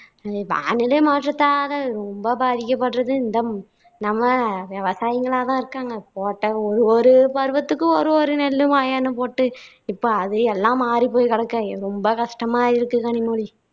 வானிலை மாற்றத்தால ரொம்ப பாதிக்கப்படுறது இந்த நம்ம விவசாயிங்களா தான் இருக்காங்க போட்ட ஒரு ஒரு பருவத்துக்கும் ஒரு ஒரு நெல்லு வயல்னு போட்டு இப்போ அது எல்லாம் மாறிப்போயி கிடக்கா ரொம்ப கஷ்டமா இருக்கு கனிமொழி